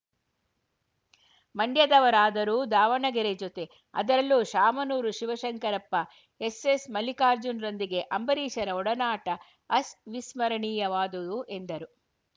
ಮಂಡ್ಯದವರಾದರೂ ದಾವಣಗೆರೆ ಜೊತೆ ಅದರಲ್ಲೂ ಶಾಮನೂರು ಶಿವಶಂಕರಪ್ಪ ಎಸ್ಸೆಸ್‌ ಮಲ್ಲಿಕಾರ್ಜುನ್‌ರೊಂದಿಗೆ ಅಂಬರೀಷರ ಒಡನಾಟ ಅಸ್ ವಿಸ್ಮರಣೀಯವಾದುದು ಎಂದರು